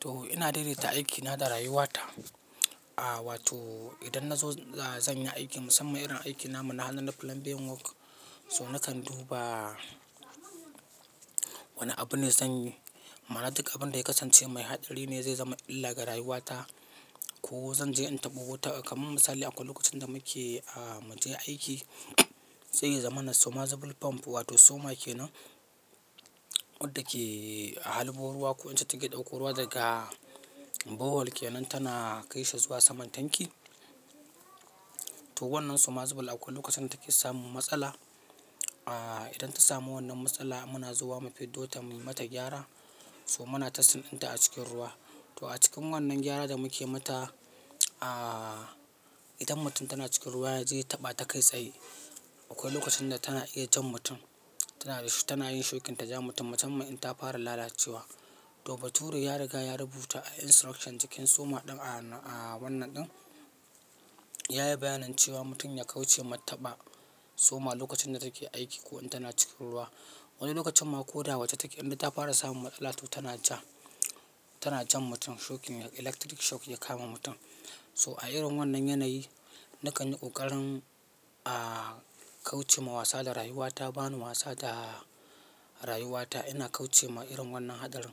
To ina daidaita aikina da rayuwata. Aaa wato idan na zo zan yi aiki musamman irin aikin namu na hannu na plumbing work so nakan duba wane abu ne zan yi. Ma'ana duk abin da ya kasance mai haɗari ne zai zama illa ga rayuwata. Ko zan je in taɓa wuta kamar misali akwai lokacin da muke aaaa mu je aiki, sai ya zamana submersible pump wato soma ke nan, wadda ke halbo ruwa ko ita take ɗauko ruwa daga borehole ke nan tana kai shi zuwa saman tanki. To wannan submersible akwai lokacin da take samun matsala. Aaa idan ta samu wannan matsala muna zuwa mufiddo ta muyi mata gyara. So muna tasting ɗinta a cikin ruwa. To a cikin wannan gyara da muke mata, aaaa idan mutum tana cikin ruwa ya je ya taɓa ta kai tsaye, akwai lokacin da tana iya jan mutum. Tana da shi tana yin shokin ta ja mutum, musamman in ta fara lalacewa. To baturi ya riga ya rubuta, a instructions cikin soma ɗin a wannan ɗin. Ya yi bayanin cewa mutum ya kauce ma taɓa soma lokacin da take aiki ko in tana cikin ruwa. Wani lokacin ma ko da waje take indai ta fara samun matsala to tana ja, tana jan mutum shokin electric shock ya kama mutum. So a irin wannan yanayi nakan yi ƙoƙarin aaaa kauce ma wasa da rayuwata, ba ni wasa da rayuwata. Ina kauce ma irin wannan haɗarin.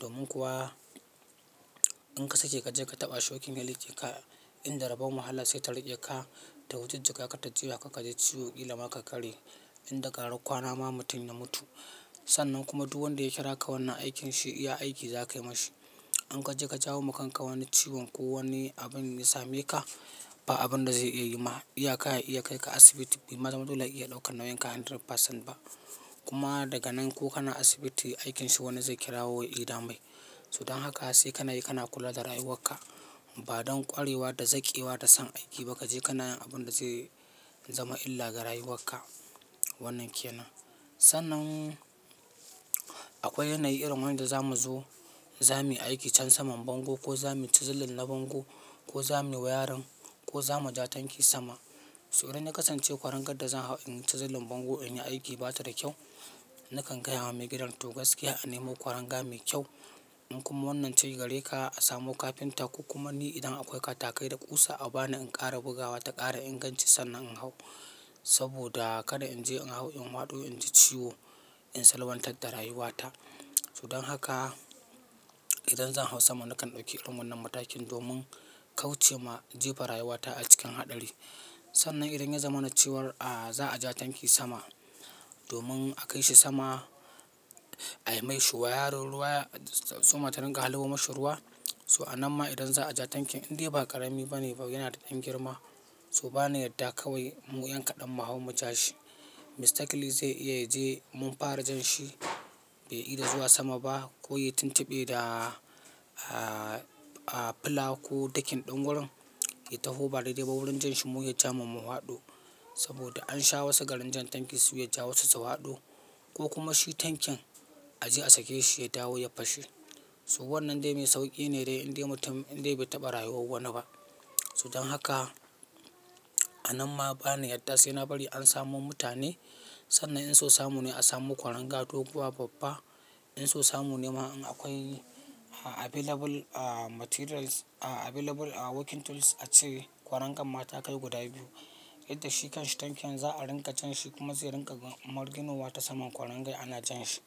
Domin kuwa in ka sake ka je ka taɓa shokin ya riƙe ka in da rabon wahala sai ta riƙe ka, ta wujujjuga ka ta juya ka kaji ciwo, ƙila ma ka karye. Inda ƙaran kwana ma mutum ya mutu. Sannan kuma duk wanda ya kira ka wannan aikin shi iya aiki za kayi mashi. In ka je ka jawo ma kanka wani ciwon ko wani abin ya same ka, ba abin da zai iya yi ma. Iya ka ya iya kai ka asibiti, bai zama dole ya iya ɗaukar nauyin ka 100% ba. Kuma daga nan ko kana asibiti aikin shi wani zai kirawo ya ida mai. So don haka sai ka na yi, ka na kula da rayuwar ka. Ba don ƙwarewa da zaƙewa da son aiki ba kaje ka nayin abin da zai zama illa ga rayuwar ka wannan ke nan. Sannan akwai yanayi irin wanda zamu zo, zamuyi aiki can saman bango, ko zamuyi cizilin na bango ko za mu yi wayarin ko za mu ja tanki sama. So idan na kasance kwarangar da zan hau in yi chisel bango in yi aiki bata da kyau, nakan gaya wa maigidan to gaskiya a nemo kwaranga mai kyau. In kuma wannan ce gareka a samo kafinta ko kuma ni idan akwai katakai da ƙusa a ba ni in ƙara bugawa ta ƙara inganci sannan in hau. Saboda kada in je in hau in faɗo in ji ciwo in salwantar da rayuwata. So don haka idan zan hau sama nakan ɗauki irin wannan matakin domin kauce ma jefa rayuwata a cikin haɗari. Sannan idan ya zamana ce war aaaa za a ja tanki sama domin a kai shi sama ayi mai shuwaya ruwa ya, soma ta ringa halbo mashi ruwa. So a nan ma idan za a ja tankin indai ba ƙarami ba ne ba yana da ɗan girma. So ba na yarda kawai mu yan kaɗan mu hau mu ja shi. Mistakly zai iya ya je mun fara jan shi bai ida zuwa sama ba ko ya yi tuntuɓe da aaaa a pla ko dakin ɗin gurin, ya taho ba daidai ba wurin jan shi mu ya ja mu mu faɗo. Saboda an sha wasu garin jan tanki su ya ja su faɗo ko kuma shi tankin a je a sake shi ya dawo ya fashe. So wannan dai mai sauƙi ne dai indai mutum indai bai taɓa rayuwar wani ba. So don haka a nan ma ba na yarda sai na bari an samo mutane. Sannan in so samu ne a samo kwaranga doguwa babba. In so samu ne ma in akwai available aaaa materials, aaaa available aaaa working tools a ce kwarangan ma takai guda biyu. Inda shi kan shi tankin za a ringa jan shi kuma zai ringa marginowa ta saman kwarangar ana jan shi.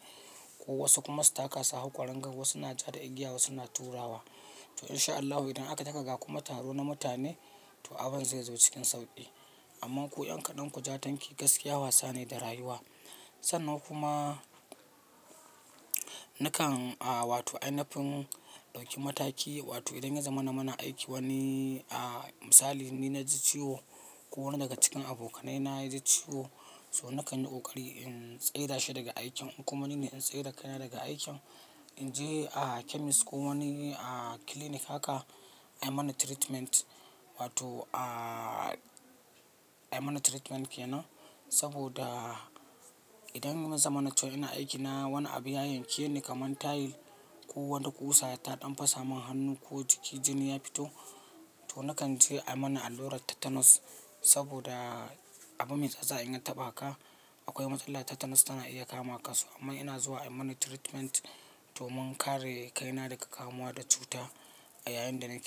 Ko wasu kuma su taka su hau kwarangar wasu na ja da igiya wasu na turawa. To in sha Allahu idan aka taka ga kuma taro na mutane to abin zai zo cikin sauƙi. Amman ku yan kaɗan ku ja tanki gaskiya wasa ne da rayuwa. Sannan kuma nakan a wato ainafin ɗauki mataki wato idan ya zamana muna aiki wani aaaa misali ni na ji ciwo ko wani daga cikin abokanai na ya ji ciwo so nakan yi ƙoƙari in tsai da shi daga aikin in kuma nine in tsai da kaina daga aikin. In je a chemist ko wani aaaa clinic haka a yi mani treatment wato aaaa a yi mani treatment ke nan. Saboda idan ya zama na cewa ina aiki na wani abu ya yankeni kamar tile ko wani ƙusa ta ɗan fasa mun hannu ko jiki jini ya fito to nakan je a yi mani allurar tetanus. Saboda abu mai tsatsa in ya taɓa ka akwai matsala tetanus tana iya kama ka. So amma ina zuwa a yi mani treatment domin kare kaina daga kamuwa da cuta a yayin da nake aiki.